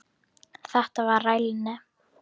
Þetta var rælni.